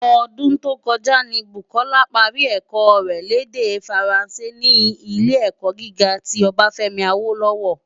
Ódún tó kòjá ni Bukola pári èkò rè l' èdè Fáránsé ni Ilé-èkò gigá ti Obafemi Awolowo.